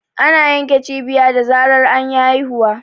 Ana yanke cibiya da zarar anyi haihuwa.